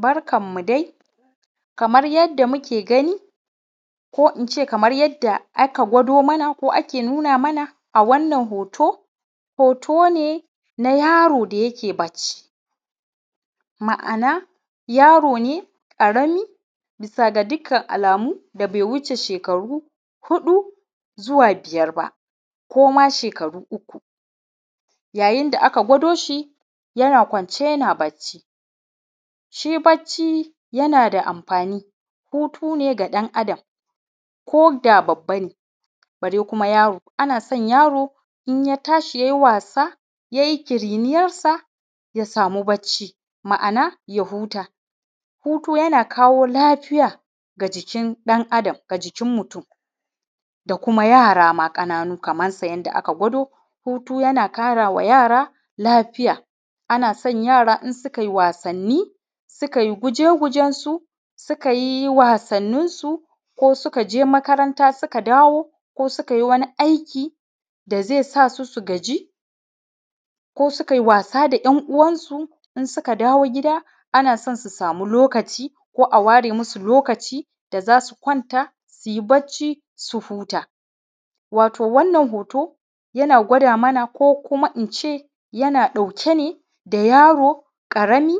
Barkanmu dai kamar yadda muke ganin ko in ce yadda aka gwado mana ake nuna mana a wannan hoto, hoto ne na yaro da yake bacci. Ma'ana yaro ne ƙarami da dukkan alamu bai wuce shekara huɗu zuwa biyar ba ko ma shekaru uku yayin da aka gwado yana kwance yana bacci shi bacci yana da amfani hutu ne ga ɗan Adam ko da babba ne bare kuma yaro. Ana son yaro in ya tashi ya yi wasa ya kiriniyarsa ya sama bacci, Ma'ana ya huta. Hutu yana kawo lafiya ga jikin ɗan Adam ga jikin mutum da kuma yara ma kanana kamar yadda aka gwado, hutu yana kara wa yara ma lafiya ana so yaro idan suka yi wasanni suka yi guje-gujensu suka yi wasanninsu ko suka ke makaranta suka dawo ko suka yi wani aiki da zai sa su su gaji ko suka yi wasa da 'yan uwansu suka dawo gida ana son su sama lokaci ko a ware musu lokaci su kwanta. Wato wannan hoto yana gwada mana ko kuma in ce yana ɗauke da yaro ƙarami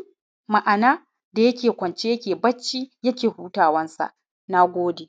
da yake kwance yake bacci yake hutawarsa. Na gode.